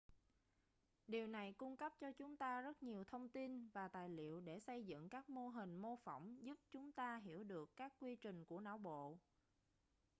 điều này cung cấp cho chúng ta rất nhiều thông tin và tài liệu để xây dựng các mô hình mô phỏng giúp chúng ta hiểu được các quy trình của não bộ